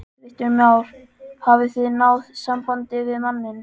Kristján Már: Hafið þið náð sambandi við manninn?